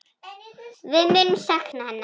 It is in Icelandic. Við munum sakna hennar.